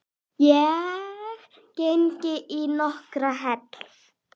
Ég geng í nokkrar hel